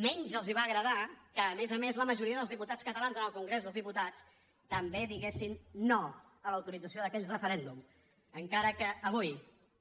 menys els va agradar que a més a més la majoria dels diputats catalans en el congrés dels diputats també diguessin no a l’autorització d’aquell referèndum encara que avui